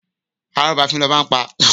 Arọ́ba fín lọba ń pa!